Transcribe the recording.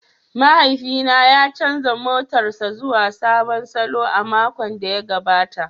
Mahaifina ya canza motarsa ​​zuwa sabon salo a makon da ya gabata.